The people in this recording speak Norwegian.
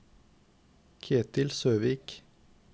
Ketil Søvik